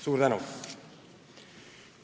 Suur tänu!